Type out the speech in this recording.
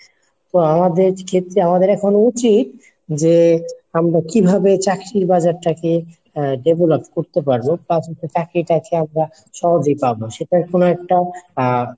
তো আমাদের ক্ষেত্রে আমাদের এখন উচিত যে আমরা কিভাবে চাকরির বাজার টাকে develop করতে পারবো plus চাকরিটা আমরা সহজে পাবো সেটা কোনো একটা